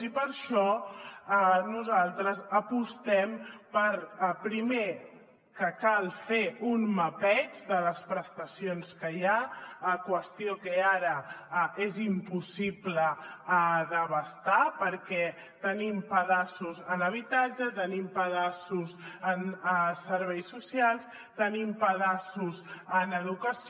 i per això nosaltres apostem per primer que cal fer un mapeig de les prestacions que hi ha qüestió que ara és impossible d’abastar perquè tenim pedaços en habitatge tenim pedaços en serveis socials tenim pedaços en educació